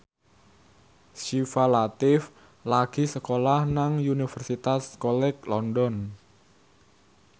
Syifa Latief lagi sekolah nang Universitas College London